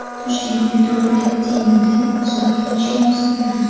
Toshkent metropolitenida suratga olishga ruxsat berildi.